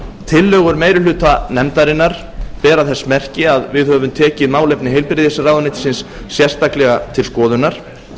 tillögur meiri hluta nefndarinnar bera þess merki að við höfum tekið málefni heilbrigðisráðuneytisins sérstaklega til skoðunar